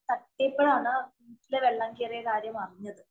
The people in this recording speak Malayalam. തട്ടിയപ്പോളാണ് വീട്ടില് വെള്ളം കേറിയ കാര്യം അറിഞ്ഞത്.